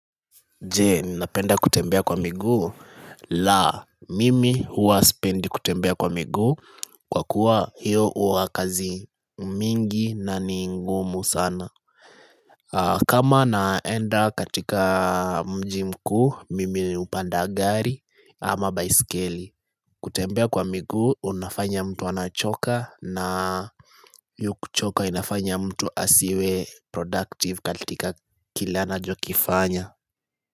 Jee ninapenda kutembea kwa miguu la mimi huwa sipendi kutembea kwa miguu kwa kuwa hiyo huwa kazi mingi na ni ngumu sana kama naenda katika mji mkuu mimi hupanda gari ama baiskeli kutembea kwa miguu unafanya mtu anachoka na hiyo kuchoka inafanya mtu asiwe productive katika kila anachokifanya.